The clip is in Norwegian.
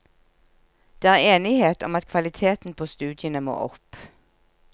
Det er enighet om at kvaliteten på studiene må opp.